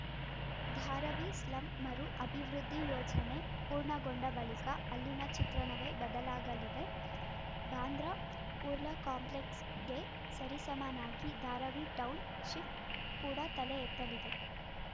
Dharavi slum ಮರು ಅಭಿವೃದ್ಧಿ ಯೋಜನೆ ಪೂರ್ಣಗೊಂಡ ಬಳಿಕ ಅಲ್ಲಿನ ಚಿತ್ರಣವೇ ಬದಲಾಗಲಿದೆ ಬಾಂದ್ರಾ ಕುರ್ಲಾ ಕಾಂಪ್ಲೆಕ್ಸ್‌ಗೆ ಸರಿಸಮನಾಗಿ ಧಾರಾವಿ ಟೌನ್‌ ಶಿಫ್‌ ಕೂಡ ತಲೆ ಎತ್ತಲಿದೆ